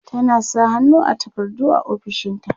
tana sa hannu a takardu a ofishinta